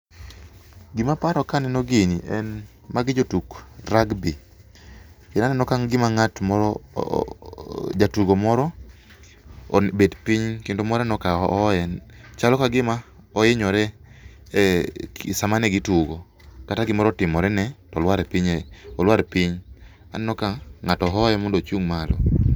Gimaparo kaneno gini en ,magi jotug rugbi, aneno ka gima ng'at moro jatugo moro obet piny kendo moro aneno ka hoye . Chalo ka gima ohinyore e sama ne gitugo kata gimoro otimorene to olwar piny . Aneno ka ng'ato hoye mondo ochung' malo.